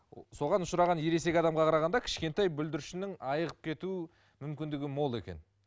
соған ұшыраған ересек адамға қарағанда кішкентай бүлдіршіннің айығып кету мүмкіндігі мол екен